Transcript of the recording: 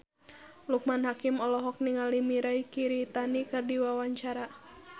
Loekman Hakim olohok ningali Mirei Kiritani keur diwawancara